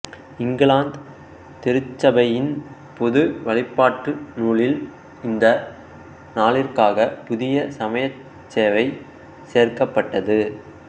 இங்கிலாந்து திருச்சபையின் பொது வழிபாட்டு நூலில் இந்த நாளிற்காக புதிய சமயச் சேவை சேர்க்ககப்பட்டது